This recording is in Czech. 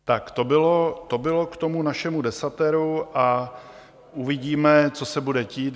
Tak to bylo k tomu našemu desateru a uvidíme, co se bude dít.